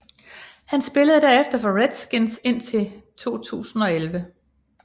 Han spillede derefter for Redskins indtil 2011